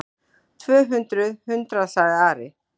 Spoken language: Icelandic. Tvö hundruð hundraða, sagði Ari.